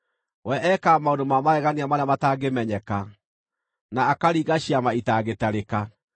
We ekaga maũndũ ma magegania marĩa mataangĩmenyeka, na akaringa ciama itangĩtarĩka.